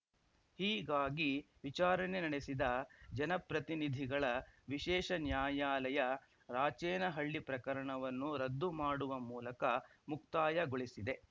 ಹೀಗಾಗಿ ವಿಚಾರಣೆ ನಡೆಸಿದ ಜನಪ್ರತಿನಿಧಿಗಳ ವಿಶೇಷ ನ್ಯಾಯಾಲಯ ರಾಚೇನಹಳ್ಳಿ ಪ್ರಕರಣವನ್ನು ರದ್ದು ಮಾಡುವ ಮೂಲಕ ಮುಕ್ತಾಯಗೊಳಿಸಿದೆ